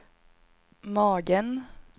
magen